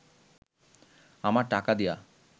আমার টাকা দিয়া